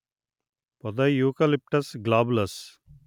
పొదయూకలిప్టస్ globulus